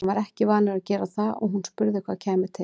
Hann var ekki vanur að gera það og hún spurði hvað kæmi til.